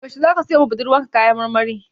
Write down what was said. Yaushe zaka siyowa budurwarka kaya marmari?